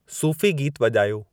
सुफ़ी गीत वॼायो